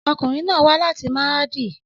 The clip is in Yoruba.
Ọkunrin naa wa lati Maradi